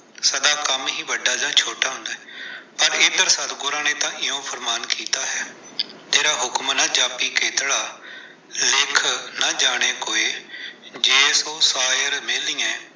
ਸਦਾ ਕੰਮ ਹੀ ਵੱਡਾ ਜਾਂ ਛੋਟਾ ਹੁੰਦਾ ਹੈ, ਪਰ ਇੱਧਰ ਸਤਿਗੁਰਾਂ ਨੇ ਤਾਂ ਇਓਂ ਫੁਰਮਾਨ ਕੀਤਾ ਹੈ, ਤੇਰਾ ਹੁਕਮੁ ਨ ਜਾਪੀ ਕੇਤੜਾ ਲਿਖਿ ਨ ਜਾਣੈ ਕੋਇ, ਜੇ ਸਉ ਸਾਇਰ ਮੇਲੀਅਹਿ।